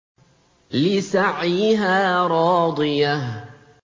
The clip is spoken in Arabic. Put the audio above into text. لِّسَعْيِهَا رَاضِيَةٌ